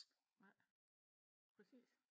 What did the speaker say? Nej præcis